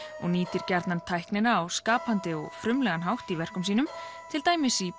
og nýtir gjarnan tæknina á skapandi og frumlegan hátt í verkum sínum til dæmis í